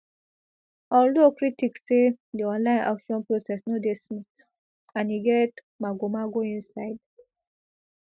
although critics say di online auction process no dey smooth and e get magomago inside